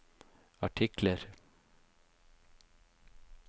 artikler